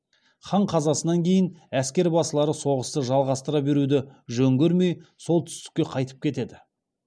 хан қазасынан кейін әскербасылары соғысты жалғастыра беруді жөн көрмей солтүстікке қайтып кетеді